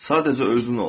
Sadəcə özün ol.